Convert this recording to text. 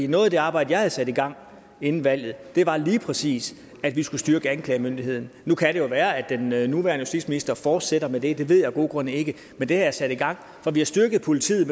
noget af det arbejde jeg havde sat i gang inden valget var lige præcis at vi skulle styrke anklagemyndigheden nu kan det jo være at den nuværende justitsminister fortsætter med det det ved jeg af gode grunde ikke men det er sat i gang vi har styrket politiet